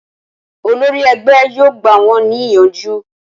Olórí ẹgbẹ́ yóò gbà wón ní ìyànjú